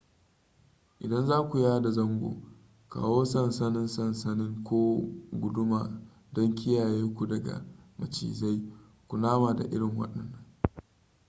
idan zaku yada zango kawo sansannin sansanin ko guduma don kiyaye ku daga macizai kunama da irin wannan